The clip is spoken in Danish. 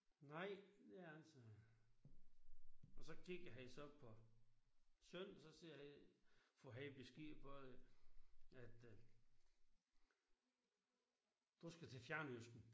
Nej det er ikke sagde han. Og så kigger han så på søn og så siger han får han besked på at øh du skal til fjernøsten